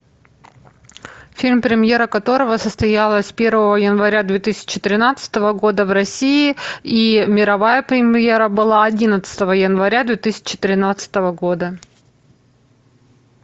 фильм премьера которого состоялась первого января две тысячи тринадцатого года в россии и мировая премьера была одиннадцатого января две тысячи тринадцатого года